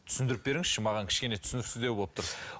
түсіндіріп беріңізші маған кішкене түсініксіздеу болып тұр